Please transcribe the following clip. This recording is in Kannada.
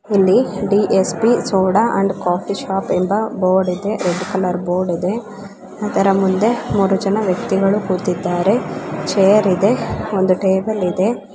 ಇಲ್ಲಿ DSP soda and coffee shop ಎಂಬ ಬೋರ್ಡ್ ಇದೆ ರೆಡ್ ಕಲರ್ ಬೋರ್ಡ್ ಇದೆ ಅದರ ಮುಂದೆ ಮೂರು ಜನ ವ್ಯಕ್ತಿಗಳು ಕೂತಿದ್ದಾರೆ ಛೇರ್ ಇದೆ ಒಂದು ಟೇಬಲ್ ಇದೆ .